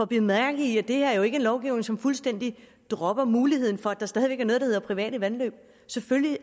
bide mærke i at det her jo ikke lovgivning som fuldstændig dropper muligheden for at der stadig væk hedder private vandløb selvfølgelig